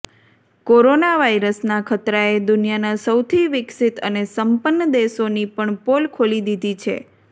corona વાયરસનાં ખતરાએ દુનિયાનાં સૌથી વિકસિત અને સંપન્ન દેશોની પણ પોલ ખોલી દીધી છે